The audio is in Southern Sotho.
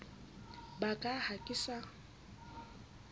ba ka ha ke sa